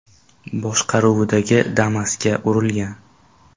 boshqaruvidagi Damas’ga urilgan.